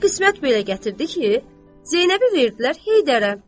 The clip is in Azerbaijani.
Axırı qismət belə gətirdi ki, Zeynəbi verdilər Heydərə.